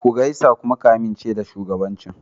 Ku gaisa ka kuma amince da shugabancin.